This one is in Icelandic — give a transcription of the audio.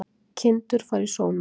Kindur fara í sónar